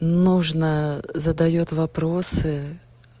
нужно задаёт вопросы